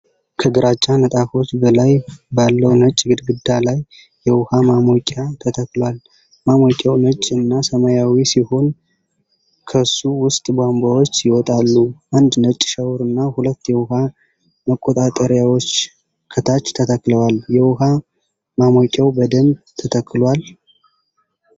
ከግራጫ ንጣፎች በላይ ባለው ነጭ ግድግዳ ላይ የውሃ ማሞቂያ ተተክሏል። ማሞቂያው ነጭ እና ሰማያዊ ሲሆን ከሱ ውስጥ ቧንቧዎች ይወጣሉ። አንድ ነጭ ሻወርና ሁለት የውሃ መቆጣጠሪያዎች ከታች ተተክለዋል። የውሃ ማሞቂያው በደንብ ተተክሏል?